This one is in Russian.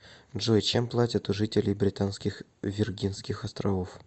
джой чем платят у жителей британских виргинских островов